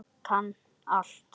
Kann allt.